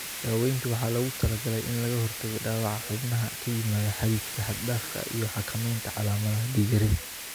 Daawaynta waxaa loogu talagalay in laga hortago dhaawaca xubnaha ka yimaada xadiidka xad-dhaafka ah, iyo xakameynta calaamadaha dhiig-yarida.